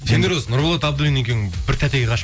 сендер осы нұрболат абуллин екеуің бір тәтеге ғашық